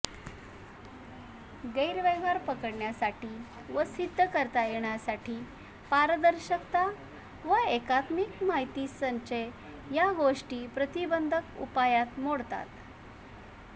गैरव्यवहार पकडण्यासाठी व सिध्द करता येण्यासाठी पारदर्शकता व एकात्मिक माहितीसंचय या गोष्टी प्रतिबंधक उपायात मोडतात